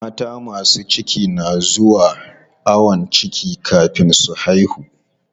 Mata masu ciki na zuwa ayon ciki kafin su haihu.